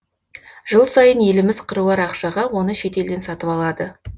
жыл сайын еліміз қыруар ақшаға оны шет елден сатып алады